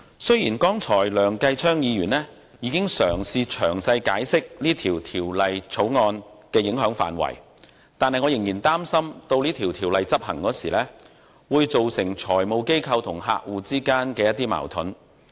雖然剛才梁繼昌議員已嘗試詳細解釋《條例草案》的影響範圍，但我仍然擔心，執行經修訂的《稅務條例》時，會導致財務機構與客戶之間出現矛盾。